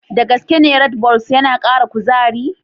Da gaske ne Redbulls yana kara kuzari?